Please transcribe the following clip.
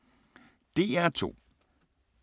DR2